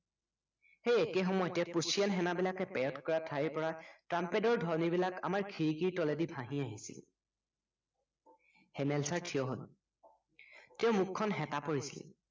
সেই একে সময়তে প্ৰুচিয়ান সেনাবিলাকে parade কৰা ঠাইৰ পৰা trumped ধ্বনিবিলাক আমাৰ খিৰিকীৰ তলেদি ভাঁহি আহিছিল হেমেল চাৰ থিয় হল তেওঁৰ মুখখন সেঁতা পৰিছিল